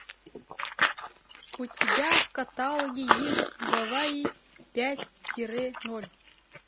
у тебя в каталоге есть гавайи пять тире ноль